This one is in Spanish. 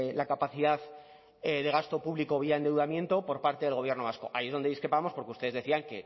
la capacidad de gasto público vía endeudamiento por parte del gobierno vasco ahí es donde discrepábamos porque ustedes decían